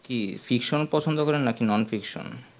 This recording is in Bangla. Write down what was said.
কি friction পছন্দ করেন নাকি non friction